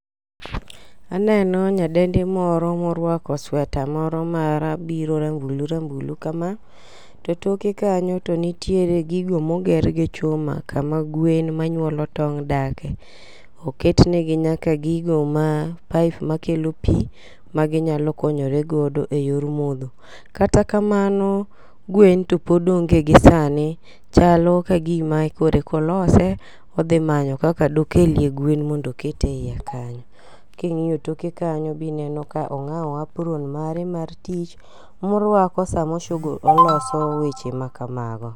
Aneno nyadendi moro morwako sweta moro mara biro rambulu rambulu kama . To toke kanyo to nitiere gigo moger gi chuma kama gwen ma nyuolo tong' dake. Oket negi nyaka gigo ma paip ma kelo pii magi nyalo konyore godo e yor modho. Kata kamano, gwen to pod onge gisani. Chalo kagima kore kolose odhi manyo kaka dokelie gwen mondo oket e iye kanyo. King'iyo toke kanyo minego kong'awo apron mare mar tich morwako samo shugu oloso weche ma kamago.